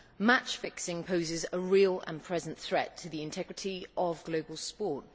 Match fixing poses a real and present threat to the integrity of global sport.